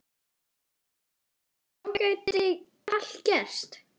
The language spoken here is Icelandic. Þá gæti allt gerst.